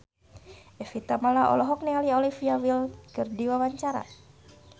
Evie Tamala olohok ningali Olivia Wilde keur diwawancara